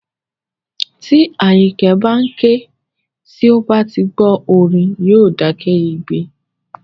Tí Àyìnkẹ́ bá ń ké, tí ó bá ti gbọ́ orin, yóò dákẹ́ igbe